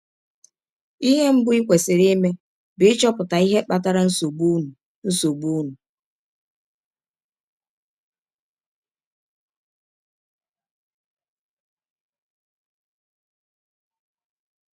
Ihe mbụ i kwesịrị ime bụ ịchọpụta ihe kpatara nsọgbụ ụnụ nsọgbụ ụnụ.